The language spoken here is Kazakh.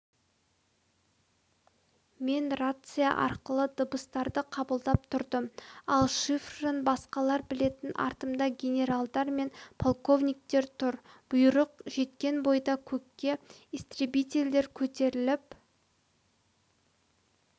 мен рация арқылы дыбыстарды қабылдап тұрдым ал шифрын басқалар білетін артымда генералдар мен полковниктер тұр бұйырық жеткен бойда көкке истребительдер көтеріліп